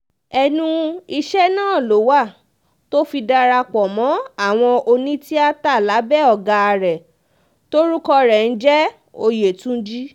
ẹnu iṣẹ́ náà ló wà tó fi darapọ̀ mọ́ àwọn onítìata lábẹ́ ọ̀gá rẹ̀ tórúkọ rẹ̀ ń jẹ́ òyétúńjì